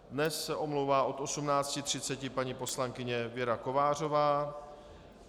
Dnes se omlouvá od 18.30 paní poslankyně Věra Kovářová.